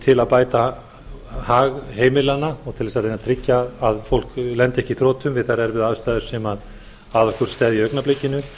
til að bæta hag heimilanna og til þess að reyna að tryggja að fólk lendi ekki í þrotum við þær erfiðu aðstæður sem að okkur steðja í augnablikinu